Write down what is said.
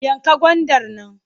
Yanka gwandar nan!